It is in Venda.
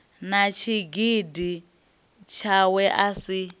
na tshigidi tshawe a si